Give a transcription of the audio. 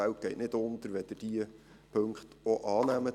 Die Welt geht nicht unter, wenn Sie diese Punkte auch annehmen.